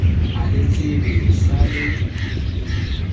a letsebe le sa le